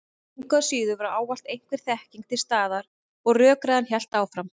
Engu að síður var ávallt einhver þekking til staðar og rökræðan hélt áfram.